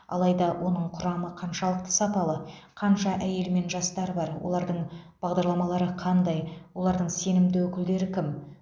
алайда оның құрамы қаншалықты сапалы қанша әйел мен жастар бар олардың бағдарламалары қандай олардың сенімді өкілдері кім